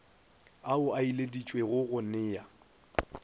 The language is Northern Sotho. ao a ileditšwego go nea